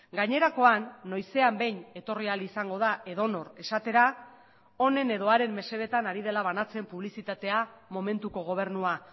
gainerakoan noizean behin etorri ahal izango da edonor esatera honen edo haren mesedetan ari dela banatzen publizitatea momentuko gobernua